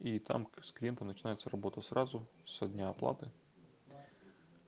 и там скрепку начинается работа сразу со дня оплаты